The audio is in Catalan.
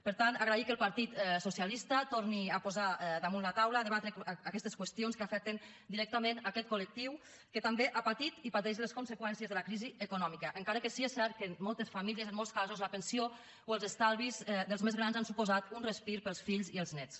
per tant agrair que el partit socialista torni a posar damunt la taula a debatre aquestes qüestions que afecten directament aquest col·lectiu que també ha patit i pateix les conseqüències de la crisi econòmica encara que sí és cert que en moltes famílies en molts casos la pensió o els estalvis dels més grans han suposat un respir per als fills i els néts